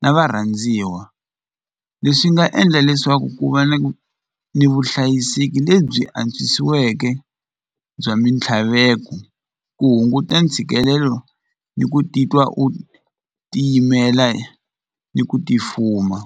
na varhandziwa leswi nga endla leswaku ku va ni ni vuhlayiseki lebyi antswisiweke bya mintlhaveko ku hunguta ntshikelelo ni ku titwa u tiyimela ni ku ti fuma.